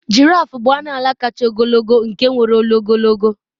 giraffe bụ anụ ala kachasị ogologo nke nwere olu ogologo